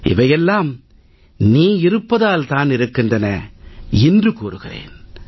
இவையெல்லாம் நீ இருப்பதால் தான் இருக்கின்றன இன்று கூறுகிறேன்